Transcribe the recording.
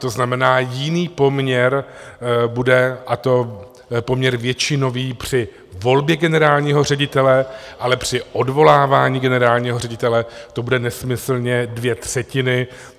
To znamená, jiný poměr bude, a to poměr většinový, při volbě generálního ředitele, ale při odvolávání generálního ředitele to bude nesmyslně dvě třetiny.